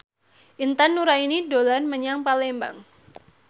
Intan Nuraini dolan menyang Palembang